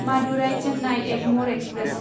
Madurai Chennai Egmore express